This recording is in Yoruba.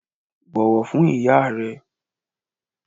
Bọ̀wọ̀ fún iyá rẹ!